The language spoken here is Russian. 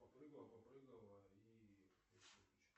попрыгала попрыгала и